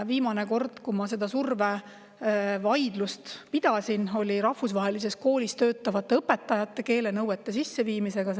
Viimane kord, kui ma selle surve üle vaidlust pidasin, oli rahvusvahelises koolis töötavate õpetajate keelenõuete sisseviimisel.